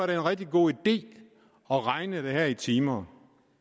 det en rigtig god idé at regne det her i timer